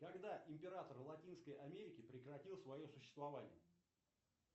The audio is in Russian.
когда император латинской америки прекратил свое существование